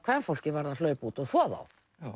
kvenfólkið varð að hlaupa út og þvo þá